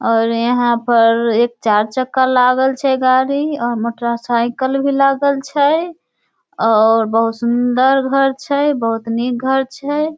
और यहाँ पर एक चार चक्का लागल छै गाड़ी मोटरसाइकिल भी लगल छै । और बहुत सुन्दर घर छै बहुत निक़ घर छै ।